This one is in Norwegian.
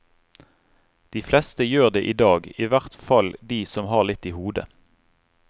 De fleste gjør det i dag, i hvert fall de som har litt i hodet.